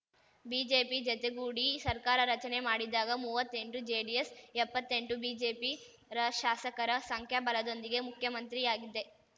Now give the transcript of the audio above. BJP ಜತೆಗೂಡಿ ಸರ್ಕಾರ ರಚನೆ ಮಾಡಿದಾಗ ಮುವ್ವತ್ತೆಂಟುಜೆಡಿಎಸ್ ಎಪ್ಪತ್ತೆಂಟು ಬಿಜೆಪಿ ರ ಶಾಸಕರ ಸಂಖ್ಯಾಬಲದೊಂದಿಗೆ ಮುಖ್ಯಮಂತ್ರಿಯಾಗಿದ್ದೆ